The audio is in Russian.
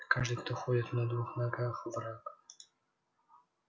каждый кто ходит на двух ногах враг